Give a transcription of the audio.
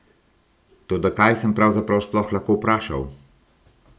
Toda kaj sem pravzaprav sploh lahko vprašal?